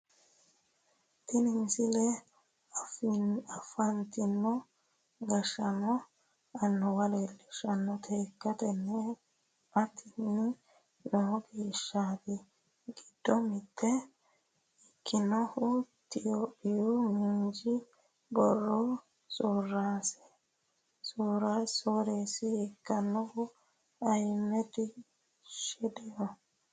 tini misile afantino gashshaanonna annuwa leelluishshannota ikkitann atini no gashshaanote giddo mitto ikkinohu itiyophiyu miinju biiro sooreessa ikkinohu ayiimedi shideho